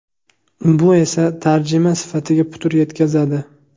Bu esa tarjima sifatiga putur yetkazadi.